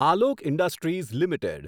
Alok industries limited